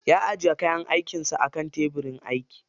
Ya ajiye kayan aikin sa akan tebirin aiki.